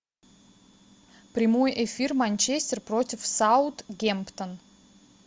прямой эфир манчестер против саутгемптон